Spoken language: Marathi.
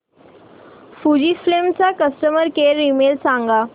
फुजीफिल्म चा कस्टमर केअर ईमेल सांगा